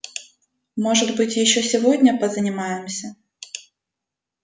может быть ещё сегодня позанимаемся